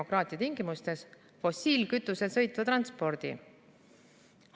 Kas keelame fossiilkütusel sõitva transpordi?